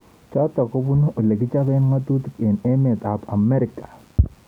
Chotok kobunu olekichope ngatutik eng emet ab Amerika.